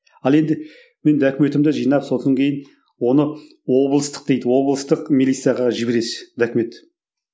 ал енді мен документімді жинап сосын кейін оны облыстық дейді облыстық милицияға жібересіз документті